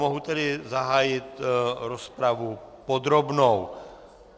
Mohu tedy zahájit rozpravu podrobnou.